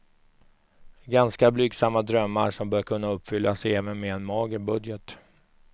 Ganska blygsamma drömmar som bör kunna uppfyllas även med en mager budget.